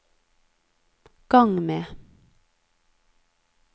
gang med